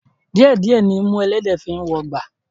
Díẹ̀ díẹ̀ nimú ẹlẹ́dẹ̀ẹ́ fi ń wọgbà